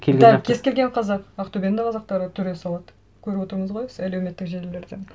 да кез келген қазақ ақтөбенің де қазақтары түре салады көріп отырмыз ғой әлеуметтік желілерден